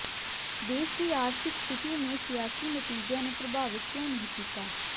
ਦੇਸ਼ ਦੀ ਆਰਥਿਕ ਸਥਿਤੀ ਨੇ ਸਿਆਸੀ ਨਤੀਜਿਆਂ ਨੂੰ ਪ੍ਰਭਾਵਿਤ ਕਿਉਂ ਨਹੀਂ ਕੀਤਾ